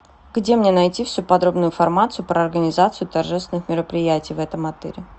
где мне найти всю подробную информацию про организацию торжественных мероприятий в этом отеле